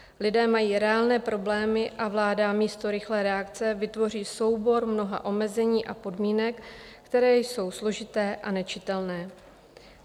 Lidé mají reálné problémy a vláda místo rychlé reakce vytvoří soubor mnoha omezení a podmínek, které jsou složité a nečitelné.